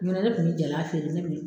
Ɲɔnɔ ne kun bɛ jala feere ne kun me